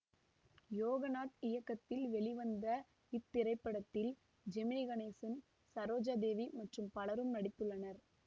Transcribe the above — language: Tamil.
யோகநாத் இயக்கத்தில் வெளிவந்த இத்திரைப்படத்தில் ஜெமினி கணேசன் சரோஜா தேவி மற்றும் பலரும் நடித்துள்ளனர்